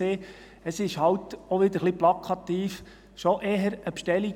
Es war halt – auch wieder ein wenig plakativ – schon eher eine Bestellung.